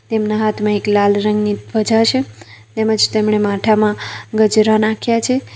તેમના હાથમાં એક લાલ રંગની ધ્વજા છે તેમજ તેમણે માથામાં ગજરા નાખ્યા છે.